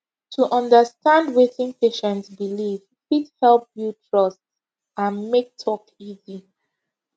to understand wetin patient believe fit help build trust and make talk easy